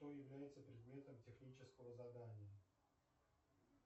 что явдяется предметом технического задания